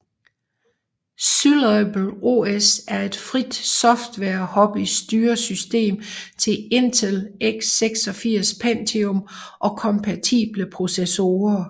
Syllable OS er et frit software hobby styresystem til Intel x86 Pentium og kompatible processorer